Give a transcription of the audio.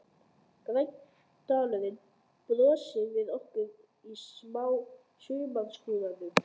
Grænn dalurinn brosir við okkur í sumarskrúðanum.